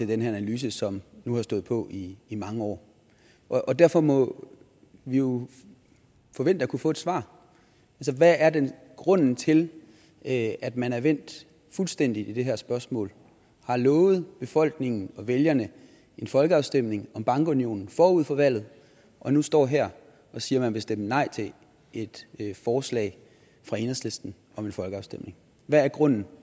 den her analyse som nu har stået på i i mange år derfor må vi jo forvente at kunne få et svar hvad er grunden til at at man er vendt fuldstændig i det her spørgsmål har lovet befolkningen og vælgerne en folkeafstemning om bankunionen forud for valget og nu står her og siger at man vil stemme nej til et forslag fra enhedslisten om en folkeafstemning hvad er grunden